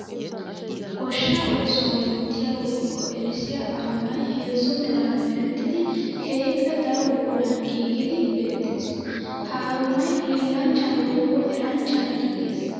Goshshaa oosuwa yootiya woykko erissiya arummay heezzu meran merettiddi keehippe daro puulan giigiddi beetes. Ha arummay hiillanchchan woykko eranchchan giiges.